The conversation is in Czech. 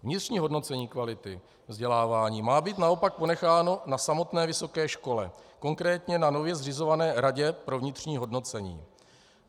Vnitřní hodnocení kvality vzdělávání má být naopak ponecháno na samotné vysoké škole, konkrétně na nově zřizované radě pro vnitřní hodnocení.